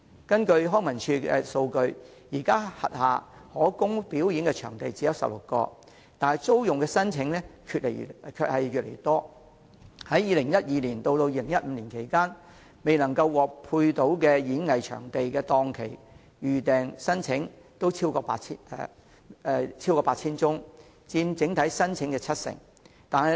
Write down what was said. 根據康樂及文化事務署數據，現時其轄下可供表演的場地只有16個，但租用的申請卻越來越多，在2012年至2015年期間，未能獲分配演藝場地檔期的預訂申請超過 8,000 宗，約佔整體申請的七成。